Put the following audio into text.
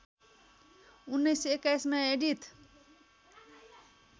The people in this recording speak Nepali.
१९२१ मा एडिथ